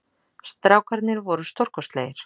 Strákarnir voru stórkostlegir